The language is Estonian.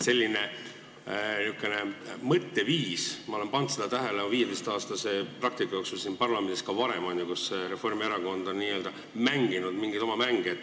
Sellist mõtteviisi olen ma pannud oma 15-aastase praktika jooksul siin parlamendis tähele ka varem, et Reformierakond on n-ö mänginud mingeid oma mänge.